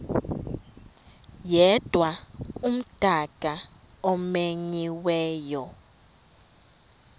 yedwa umdaka omenyiweyo